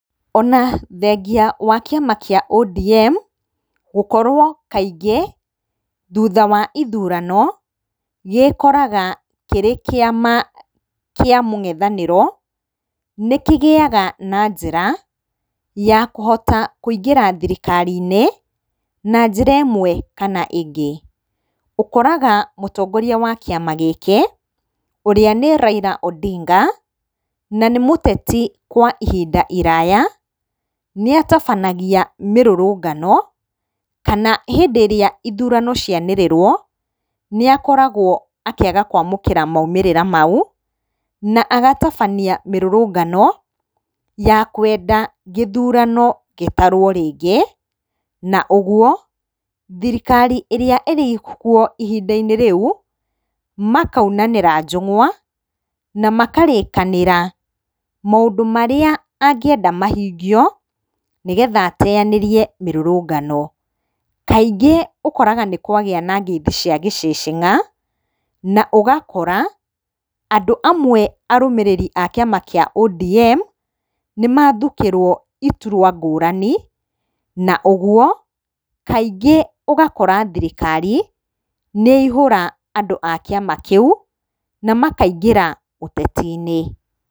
Ona thengia wa kĩama kĩa ODM gũkorwo kaingĩ thutha wa ithurano gĩkoraga kĩrĩ kĩama kĩa mũng'ethanĩro nĩkĩgĩyaga na njĩra ya kũhota kũingĩra thirikari-inĩ na njĩra ĩmwe kana ĩngĩ. Ũkoraga mũtongoria wa kĩama gĩkĩ ũrĩa nĩ Raila Odinga na nĩ mũteti kwa ihinda iraya nĩatabanagia mĩrũrũngano, kana hĩndĩ ĩrĩa ithurano cianĩrĩrwo nĩakoragwo akĩaga kwamũkĩra maumĩrĩra mau na agatabania mĩrũrũngano ya kwenda gĩthurano gĩtarwo rĩngĩ. Na ũguo thirikari ĩrĩa ĩrĩkuo ihinda-inĩ rĩu makaunanĩra njung'wa na makarĩkanĩra maũndũ marĩa angĩenda mahingio nĩgetha ateyanĩrie mĩrũrũngano. Kaingĩ ũkoraga nĩkwagĩa na ngeithi cia gĩcĩcĩng'a na ũgakora andũ amwe arũmĩrĩri a kĩama kĩa ODM nĩmathukĩrwo iturwa ngũrani na ũguo kaingĩ ũgakora thirikari nĩyaihũra andũ a kĩama kĩu na makaingĩra ũteti-inĩ.